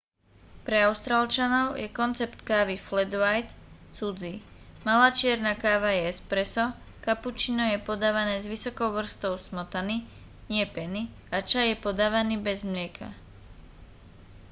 pre austrálčanov je koncept kávy flat white cudzí. malá čierna káva je espresso kapučíno je podávané s vysokou vrstvou smotany nie peny a čaj je podávaný bez mlieka